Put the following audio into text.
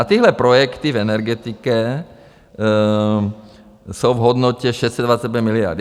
A tyhle projekty v energetice jsou v hodnotě 625 miliard.